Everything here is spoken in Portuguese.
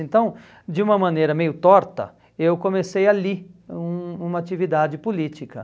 Então, de uma maneira meio torta, eu comecei ali, um uma atividade política.